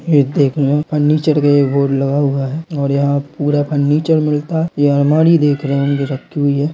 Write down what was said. फर्निचर का एक बोर्ड लगा हुआ है और यहाँ पूरा फर्निचर मिलता है ये अलमारी देख रहे होंगे रखी हुई है।